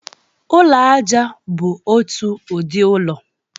Ụlọ aja bụ otu ụdị ụlọ.